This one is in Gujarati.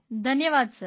ધન્યવાદ સર